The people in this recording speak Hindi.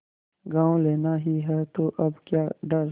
गॉँव लेना ही है तो अब क्या डर